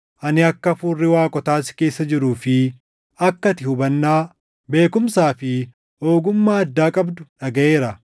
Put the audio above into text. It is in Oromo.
Ani akka hafuurri waaqotaa si keessa jiruu fi akka ati hubannaa, beekumsaa fi ogummaa addaa qabdu dhagaʼeera.